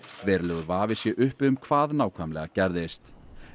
verulegur vafi sé uppi um hvað nákvæmlega gerðist